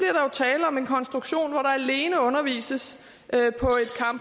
tale om en konstruktion hvor der alene undervises